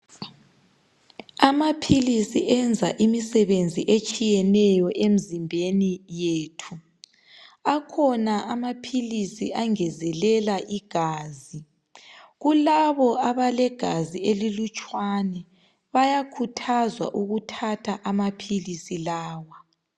Amaphilisi enza imisebenzi etshiyeneyo emzimbeni yethu, akhona amaphilisi angezelela igazi. Kulabo abalegazi elilutshwane bayakhuthazwa ukuthatha amaphilisi lawa.